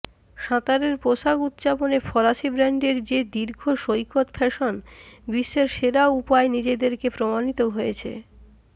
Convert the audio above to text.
সাঁতারের পোশাক উত্পাদন ফরাসি ব্রান্ডের যে দীর্ঘ সৈকত ফ্যাশন বিশ্বের সেরা উপায় নিজেদেরকে প্রমাণিত হয়েছে